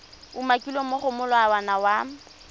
umakilweng mo go molawana wa